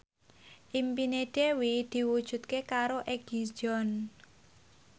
impine Dewi diwujudke karo Egi John